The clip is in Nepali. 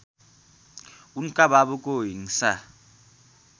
उनका बाबुको हिंसा